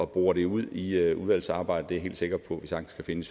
bore det ud i udvalgsarbejdet helt sikker på at vi sagtens kan finde